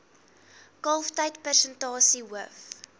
kalftyd persentasie hoof